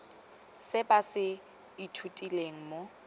se ba se ithutileng mo